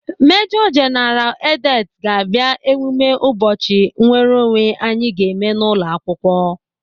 Mejo jeneral Edet ga-abịa emume ụbọchị nnwereonwe anyị ga-eme n'ụlọakwụkwọ.